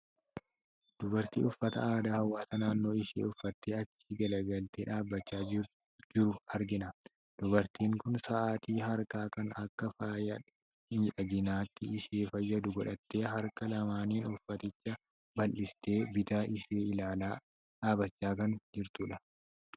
Dubartii uffata aadaa hawaasa naannoo ishee uffattee achi galagaltee dhaabachaa jiru argiana. Dubartiin kun sa'aatii harkaa kan akka faaya miidhaginaatti ishee fayyadu godhattee, harka lamaaniin uffaticha bal'istee, bita ishee ilaalaa dhaabachaa kan jirtudha.